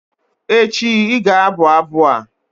echi, ị ga-abụ abụ a!